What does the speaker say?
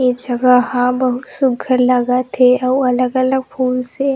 ये जगह हा बहुत सुग्घर लगत हे आऊ अलग-अलग फूल से--